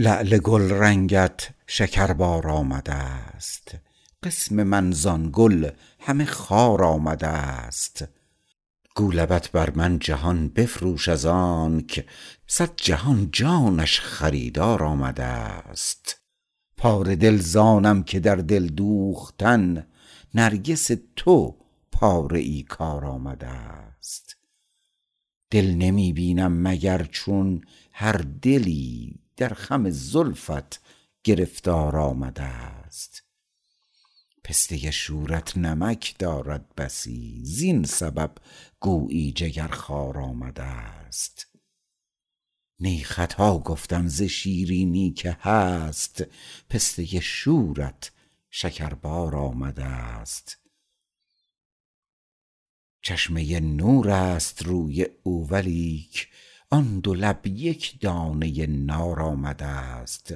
لعل گلرنگت شکربار آمدست قسم من زان گل همه خار آمدست گو لبت بر من جهان بفروش ازانک صد جهان جانش خریدار آمدست پاره دل زانم که در دل دوختن نرگس تو پاره ای کار آمدست دل نمی بینم مگر چون هر دلی در خم زلفت گرفتار آمدست پسته شورت نمک دارد بسی زین سبب گویی جگر خوار آمدست نی خطا گفتم ز شیرینی که هست پسته شورت شکربار آمدست چشمه نور است روی او ولیک آن دو لب یک دانه نار آمدست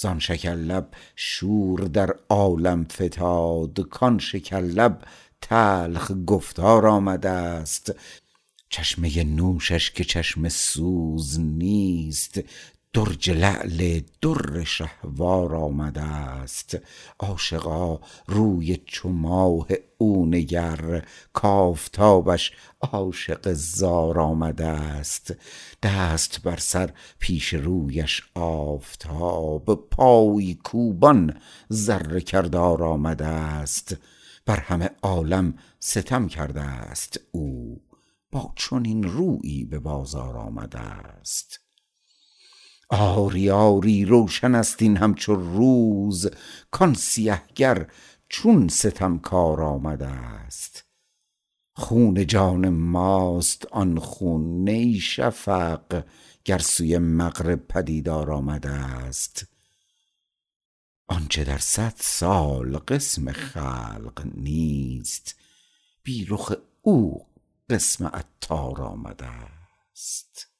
زان شکر لب شور در عالم فتاد کان شکر لب تلخ گفتار آمدست چشمه نوشش که چشم سوز نیست درج لعل در شهوار آمدست عاشقا روی چو ماه او نگر کافتابش عاشق زار آمدست دست بر سر پیش رویش آفتاب پای کوبان ذره کردار آمدست بر همه عالم ستم کردست او با چنان رویی به بازار آمدست آری آری روشن است این همچو روز کان سیه گر چون ستمکار آمدست خون جان ماست آن خون نی شفق گر سوی مغرب پدیدار آمدست آنچه در صد سال قسم خلق نیست بی رخ او قسم عطار آمدست